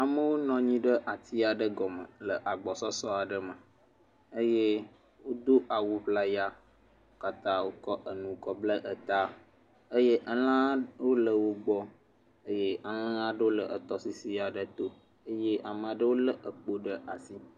Amewo nɔ anyi ɖe ati aɖe gɔme le agbɔsɔsɔ aɖe me eye wodo awuŋlaya wo katã wokɔ enu kɔ bla etaeye elãaa aɖewo le wogbɔ eye elãaa aɖewo le etɔsisi aɖe to eye amaa ɖewo lé ekpo ɖe asi.